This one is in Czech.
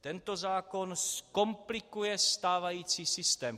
Tento zákon zkomplikuje stávající systém.